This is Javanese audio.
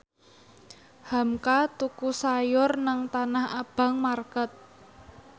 hamka tuku sayur nang Tanah Abang market